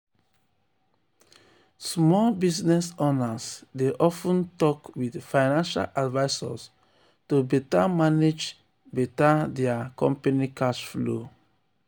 small um business owners dey of ten talk with financial advisors to um better manage um better manage dia company cash flow. um